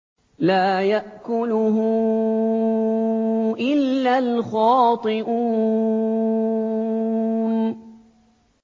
لَّا يَأْكُلُهُ إِلَّا الْخَاطِئُونَ